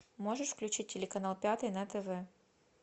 можешь включить телеканал пятый на тв